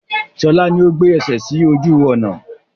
Sọlá ni ó gbé ẹsẹ sì ojú ọnà.